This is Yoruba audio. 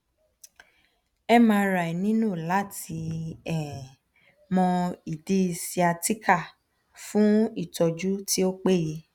mri nilo lati um mo idi sciatica fun itoju ti o peye